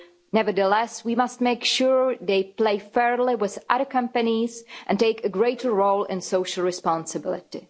Nevertheless, we must make sure they play fairly with other companies and take a greater role in social responsibility.